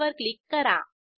save वर click करा